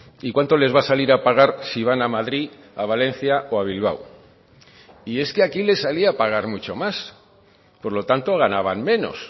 y cuánto les va a salir a pagar si van a madrid a valencia o a bilbao y es que aquí le salía a pagar mucho más por lo tanto ganaban menos